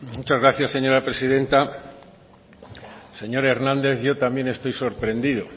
muchas gracias señora presidenta señor hernández yo también estoy sorprendido